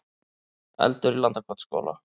Eldur í Landakotsskóla